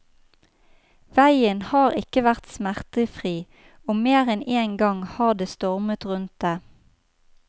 Veien har ikke vært smertefri, og mer enn én gang har det stormet rundt det.